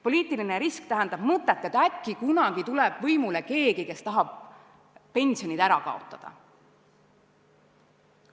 Poliitiline risk tähendab mõtet, et äkki kunagi tuleb võimule keegi, kes tahab pensionid ära kaotada.